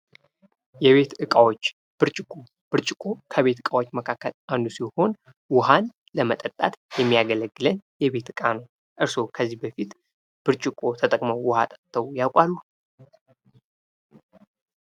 የቤት እቃዎች ብርጭቆ ከቤት እቃዎች መካከል አንዱ ሲሆን ውሀን ለመጠጣት የሚያገለግለን የቤት እቃ ነው። እርስዎ ከዚህ በፊት ብርጭቆ ተጠቅመው ውሀ ጠጥተው ያውቃሉ?